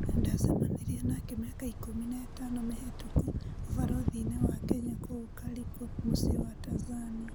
Ndacemanĩrĩe nake mĩaka ikũmi na ĩtano mĩhetũku ũbarũthinĩ wa Kenya kũu Kariku mũciĩ wa Tanzanĩa.